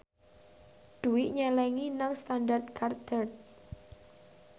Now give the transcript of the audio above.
Dwi nyelengi nang Standard Chartered